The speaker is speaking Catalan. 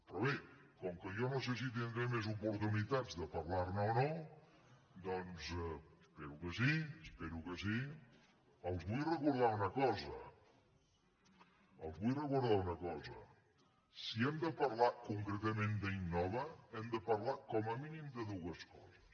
però bé com que jo no sé si tindré més oportunitats de parlar ne o no doncs espero que sí espero que sí els vull recordar una cosa els vull recordar una cosa si hem de parlar concretament d’innova hem de parlar com a mínim de dues coses